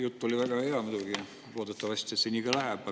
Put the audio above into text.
Jutt oli väga hea muidugi, loodetavasti see nii ka läheb.